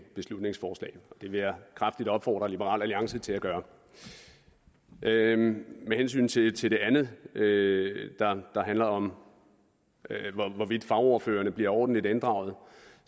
beslutningsforslag og det vil jeg kraftigt opfordre liberal alliance til at gøre med hensyn til til det andet der handler om hvorvidt fagordførerne blive ordentligt inddraget